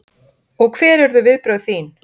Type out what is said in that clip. Og hver urðu viðbrögð þín?